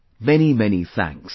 Many many thanks